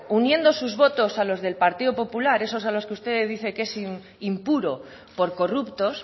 uniendo sus votos a los del partido popular esos a los que usted dice que es impuro por corruptos